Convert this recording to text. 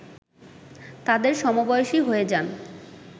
তাদের সমবয়সী হয়ে যান